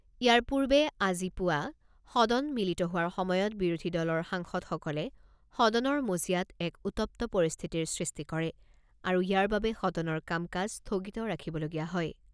ইয়াৰ পূৰ্বে আজি পুৱা সদন মিলিত হোৱাৰ সময়ত বিৰোধী দলৰ সাংসদসকলে সদনৰ মজিয়াত এক উত্তপ্ত পৰিস্থিতিৰ সৃষ্টি কৰে আৰু ইয়াৰ বাবে সদনৰ কাম কাজ স্থগিত ৰাখিবলগীয়া হয়।